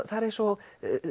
það er eins og